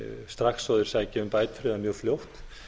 strax og þeir sækja um bætur eða mjög fljótt